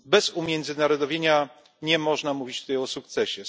Bez umiędzynarodowienia nie można mówić tutaj o sukcesie.